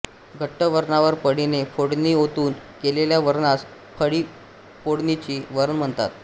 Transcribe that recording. घट्ट वरणावर पळीने फोडणी ओतून केलेल्या वरणास पळीफोडणीचे वरण म्हणतात